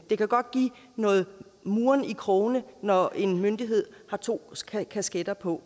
det kan godt give noget murren i krogene når en myndighed har to kasketter på